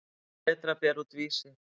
Berta að bera út Vísi.